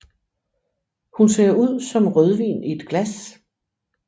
Hun ser ud som rødvin i et glas